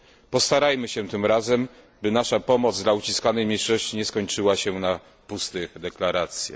Postarajmy się tym razem, by nasza pomoc dla uciskanej mniejszości nie skończyła się na pustych deklaracjach.